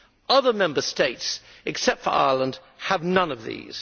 Other Member States, except for Ireland, have none of these.